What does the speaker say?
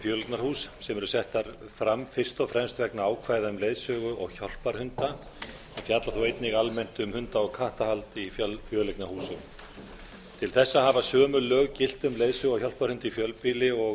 fjöleignarhús sem eru settar fram fyrst og fremst vegna ákvæða um leiðsögu og hjálparhunda en fjallar þó einnig almennt um hunda og kattahald í fjöleignarhúsum til þessa hafa sömu lög gilt um leiðsögu og hjálparhunda í fjölbýli og